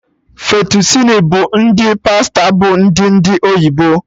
Fettucini bụ ụdị pasta bụ ndị ndị oyibo